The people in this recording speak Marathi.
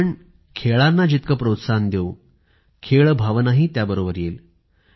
आपण खेळांना जितके प्रोत्साहन देऊ खेळभावनाही त्याबरोबर येईल